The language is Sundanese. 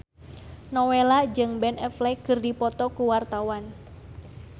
Nowela jeung Ben Affleck keur dipoto ku wartawan